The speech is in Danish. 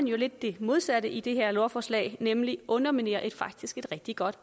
jo lidt det modsatte i det her lovforslag nemlig underminerer et faktisk er rigtig godt